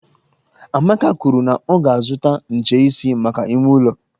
Amaka kwuru na ọ ga-azutakwu ncheisi maka ime ụlọ